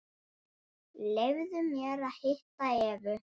Leyfðu mér að hitta Evu.